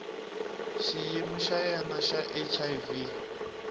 xiyimo xa yena xa hiv